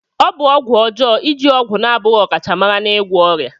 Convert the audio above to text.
Ọ bụ ọgwụ ọjọọ iji ọgwụ na-abụghị ọkachamara n'ịgwọ ọrịa.